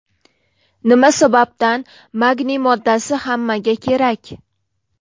Nima sababdan magniy moddasi hammaga kerak?.